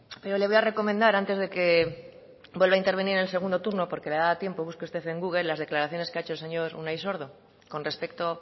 pero le voy a recomendar antes de que vuelva a intervenir en el segundo turno porque le daba tiempo busque usted en google las declaraciones que ha hecho el señor unai sordo con respecto